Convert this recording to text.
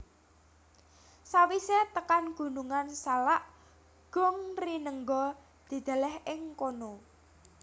Sawisé tekan Gunungan Salak Gung Rinenggo dideleh ing kono